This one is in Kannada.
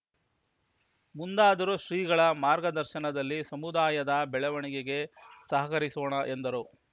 ಮುಂದಾದರೂ ಶ್ರೀಗಳ ಮಾರ್ಗದರ್ಶನದಲ್ಲಿ ಸಮುದಾಯದ ಬೆಳವಣಿಗೆಗೆ ಸಹಕರಿಸೊಣ ಎಂದರು